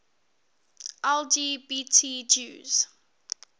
lgbt jews